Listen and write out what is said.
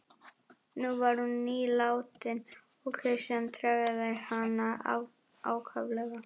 Nú var hún nýlátin og Christian tregaði hana ákaflega.